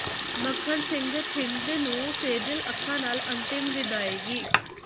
ਮੱਖਣ ਸਿੰਘ ਥਿੰਦ ਨੂੰ ਸੇਜਲ ਅੱਖਾਂ ਨਾਲ ਅੰਤਿਮ ਵਿਦਾਇਗੀ